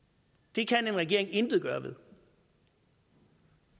det kan en regering intet gøre ved